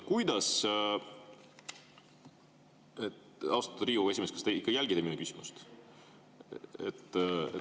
Austatud Riigikogu esimees, kas te ikka jälgite minu küsimust?